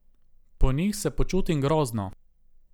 Po njih se počutim grozno.